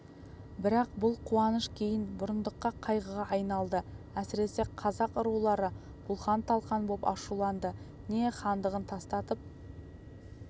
бірақ бұл қуаныш кейін бұрындыққа қайғыға айналды әсіресе қазақ рулары бұлқан-талқан боп ашуланды не хандығын тастатып